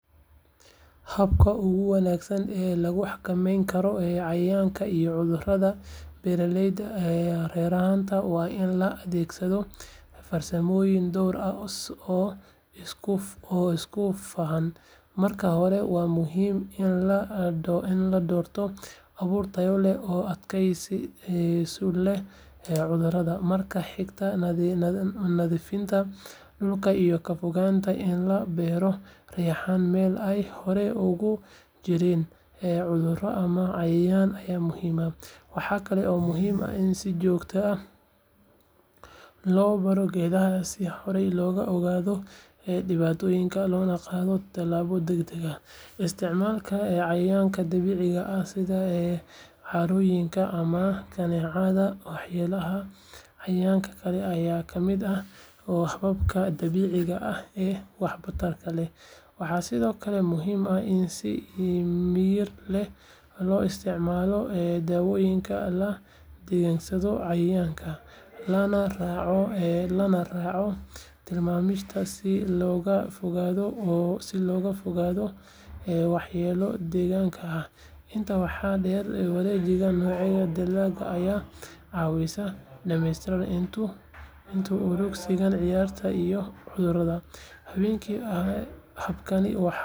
Habka ugu wanaagsan ee lagu xakameyn karo cayayaanka iyo cudurrada beerashada reexaanta waa in la adeegsado farsamooyin dhowr ah oo isku dhafan. Marka hore, waa muhiim in la doorto abuur tayo leh oo adkeysi u leh cudurrada. Marka xiga, nadiifinta dhulka iyo ka fogaanshaha in la beero reexaan meel ay hore uga jireen cudurro ama cayayaan ayaa muhiim ah. Waxa kale oo muhiim ah in si joogto ah loo baaro geedaha si horey looga ogaado dhibaatada, loona qaado tallaabo degdeg ah. Isticmaalka cayayaanka dabiiciga ah sida caarooyinka ama kaneecada waxyeelleeya cayayaanka kale ayaa ka mid ah hababka dabiiciga ah ee waxtarka leh. Waxaa sidoo kale muhiim ah in si miyir leh loo isticmaalo daawooyinka la dagaalama cayayaanka, lana raaco tilmaamaha si looga fogaado waxyeello deegaanka ah. Intaa waxaa dheer, wareejinta noocyada dalagga ayaa caawisa dhimista isku uruursiga cayayaanka iyo cudurrada. Habkani waa mid waara, kharash yar leh, kana shaqeynaya ilaalinta deegaanka.